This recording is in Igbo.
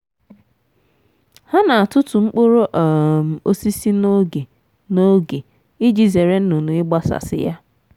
ha na-atutu mkpụrụ um osisi n'oge n'oge iji zere nnụnụ igbasasi ya.